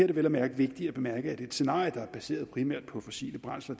det vel at mærke vigtigt at bemærke at et scenarie der er baseret primært på fossile brændsler